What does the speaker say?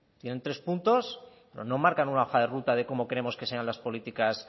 tienen tres puntos pero no marcan una hoja de ruta de cómo queremos que sean las políticas